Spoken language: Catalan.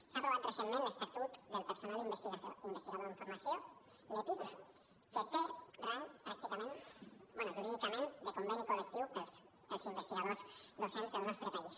s’ha aprovat recentment l’estatut del personal investigador en formació l’epif que té rang pràcticament bé jurídicament de conveni col·lectiu per als investigadors docents del nostre país